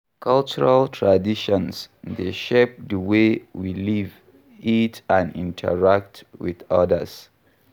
Cultural traditions dey shape di way we live, eat, and interact with odas.